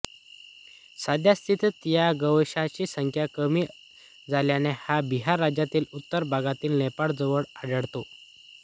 साध्यस्थितीत या गोवंशाची संख्या कमी झाल्याने हा बिहार राज्याच्या उत्तर भागात नेपाळ जवळ आढळतो